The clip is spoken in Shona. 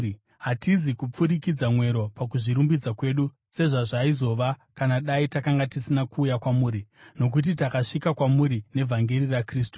Hatizi kupfurikidza mwero pakuzvirumbidza kwedu, sezvazvaizova kana dai takanga tisina kuuya kwamuri, nokuti takasvika kwamuri nevhangeri raKristu.